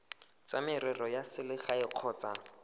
tsa merero ya selegae kgotsa